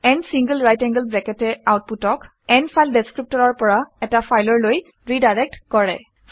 n single right angled bracket এ আউটপুটক n file ডেচক্ৰিপটৰৰ পৰা এটা ফাইললৈ ৰিডাইৰেক্ট কৰে